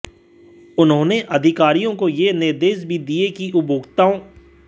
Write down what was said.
उन्होंने अधिकारियों को यह निर्देश भी दिये कि उपभोक्ताओं